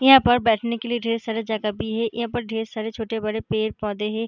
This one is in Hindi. यहाँ पर बैठने के लिए ढेर सारा जगह भी है यहाँ पर ढेर सारे छोटे बड़े पेड़-पौधे हैं।